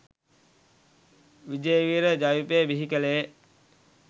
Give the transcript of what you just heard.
විජේවීර ජවිපෙ බිහි කලේ.